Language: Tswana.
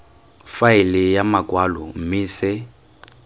faele ya makwalo mme se